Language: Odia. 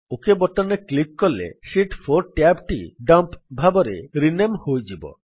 ଓକ୍ ବଟନ୍ ରେ କ୍ଲିକ୍ କଲେ ଶୀତ୍ 4 ଟ୍ୟାବ୍ ଟି ଡମ୍ପ ଭାବରେ ରିନେମ୍ ହୋଇଯିବ